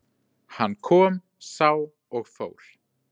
Hann kom, sá og fór.